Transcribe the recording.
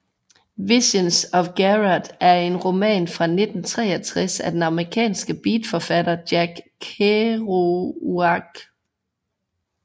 Visions of Gerard er en roman fra 1963 af den amerikanske beatforfatter Jack Kerouac